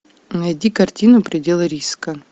найди картину пределы риска